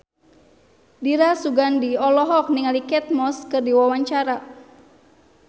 Dira Sugandi olohok ningali Kate Moss keur diwawancara